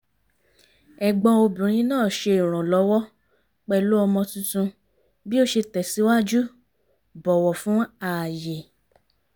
ẹ̀gbọ́n obìnrin náà ṣe ìrànlọ́wọ́ pẹ̀lú ọmọ tuntun bí ó ṣe tẹ̀sìwájú bọ̀wọ̀ fún ààyè